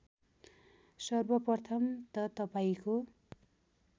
सर्वप्रथम त तपाईँको